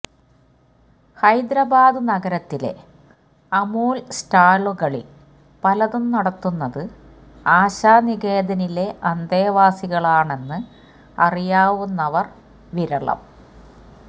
ഹൈദരാബാദ് നഗരത്തിലെ അമൂല് സ്റ്റാളുകളില് പലതും നടത്തുന്നത് ആശാനികേതനിലെ അന്തേവാസികളാണെന്ന് അറിയാവുന്നവര് വിരളം